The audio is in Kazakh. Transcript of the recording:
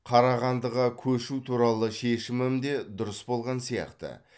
қарағандыға көшу туралы шешімім де дұрыс болған сияқты